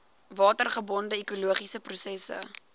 watergebonde ekologiese prosesse